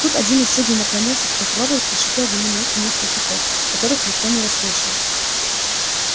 тут один из судей наклонился к прокурору и прошипел ему на ухо несколько слов которых никто не расслышал